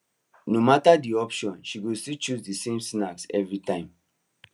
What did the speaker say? no matter the options she go still choose the same snack every time